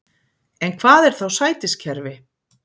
En hvað er þá sætiskerfi?